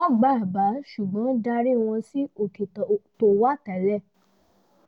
wọ́n gba àbá ṣùgbọ́n darí wọ́n sí òkè tó wà tẹ́lẹ̀